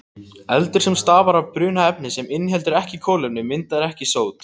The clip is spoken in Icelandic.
Eldur sem stafar af bruna efnis sem inniheldur ekki kolefni myndar ekki sót.